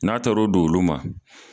N'a taar' o d'olu ma.